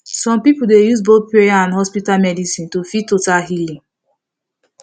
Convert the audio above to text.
some people dey use both prayer and hospital medicine to feel total healing